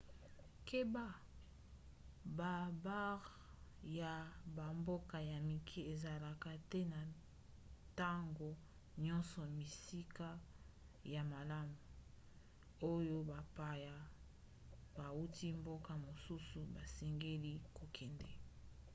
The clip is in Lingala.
keba: babare ya bamboka ya mike ezalaka te ntango nyonso bisika ya malamu oyo bapaya bauti mboka mosusu basengeli kokende